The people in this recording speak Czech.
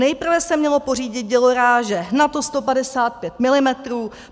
Nejprve se mělo pořídit dělo ráže NATO 155 mm.